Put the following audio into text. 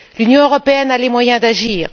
L'Union européenne a les moyens d'agir.